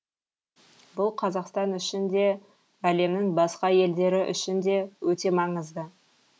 бұл қазақстан үшін де әлемнің басқа елдері үшін де өте маңызды